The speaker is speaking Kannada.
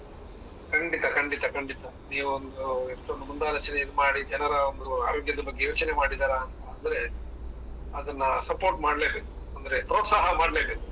ಖಂಡಿತ, ಖಂಡಿತ, ಖಂಡಿತ. ನೀವೊಂದು ಇಷ್ಟೊಂದು ಮುಂದಾಲೋಚನೆಯನ್ ಮಾಡಿ, ಜನರ ಒಂದು ಆರೋಗ್ಯದ ಬಗ್ಗೆ ಯೋಚನೆ ಮಾಡಿದೀರಾ ಅಂತ ಅಂದ್ರೆ, ಅದನ್ನ ಸಪೋರ್ಟ್ ಮಾಡ್ಲೇಬೇಕು, ಅಂದ್ರೆ ಪ್ರೋತ್ರಾಹ ಮಾಡ್ಲೇಬೇಕು.